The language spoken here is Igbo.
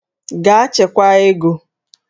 Gaa chekwaa ego!